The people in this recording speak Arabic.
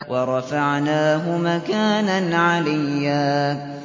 وَرَفَعْنَاهُ مَكَانًا عَلِيًّا